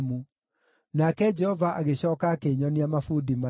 Nake Jehova agĩcooka akĩnyonia mabundi mana.